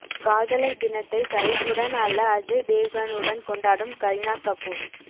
காதலர் தினத்தை சைபுடன் அல்ல அஜய் தேவ்கனுடன் கொண்டாடும் கரீனா கபூர்